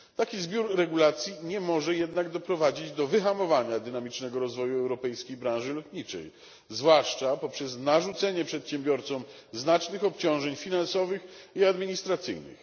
Taki zbiór regulacji nie może jednak doprowadzić do wyhamowania dynamicznego rozwoju europejskiej branży lotniczej, zwłaszcza poprzez narzucenie przedsiębiorcom znacznych obciążeń finansowych i administracyjnych.